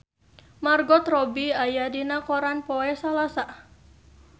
Margot Robbie aya dina koran poe Salasa